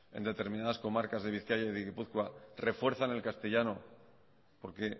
en determinadas comarcas de bizkaia y de gipuzkoa refuerzan el castellano porque